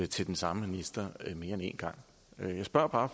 til den samme minister mere end en gang jeg spørger bare